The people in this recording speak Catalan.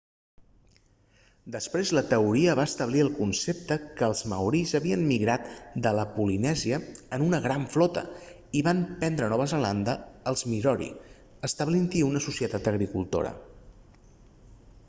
després la teoria va establir el concepte que els maoris havien migrat de la polinèsia en una gran flota i van prendre nova zelanda als moriori establint-hi una societat agricultora